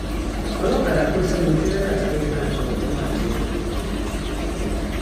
ọlọkadà kò sẹnu tìrẹlà làrigbájọ òun àtẹrọ ló kù